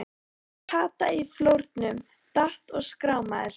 Kata í flórnum, datt og skrámaði sig.